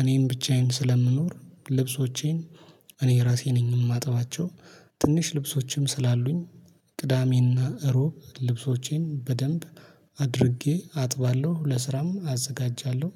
እኔም ብቻዬን ስለምኖር ልብሶቼን እኔ እራሴ ነኝ የማጠባቸው። ትንሽ ልብሶችም ስላሉኝ። ቅዳሜና እሮብ ልብሶቼን በደንብ አድርጌ አጥባለሁ ለስራም አዘጋጃለሁ